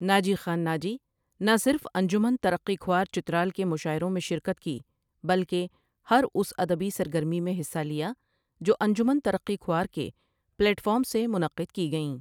ناجی خان ناجی نہ صرف انجمن ترقی کھوار چترال کےمشاعروں میں شرکت کی بلکہ ہر اس ادبی سرگرمی میں حصہ لیا جو انجمن ترقی کھوار کے پیلٹ فارم سے منعقید کی گئیں ۔